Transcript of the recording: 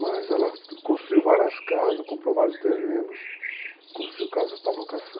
Mas ela construiu várias casas, comprou vários terrenos, construiu casas para